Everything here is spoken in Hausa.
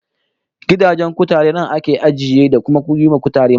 Gidajen kutare nan ake ajiye, da kuma yiwa kutare magani